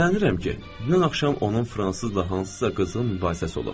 Şübhələnirəm ki, dünən axşam onun fransızla hansısa qızğın mübahisəsi olub.